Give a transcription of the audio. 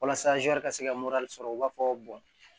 Walasa ka se ka sɔrɔ u b'a fɔ